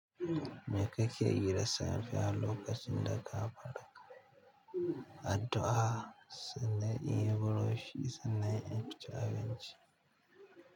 Me kake yi da safe a lokacin da ka farka addu'a? Sannan inyi buroshi, sannan in ci abinci.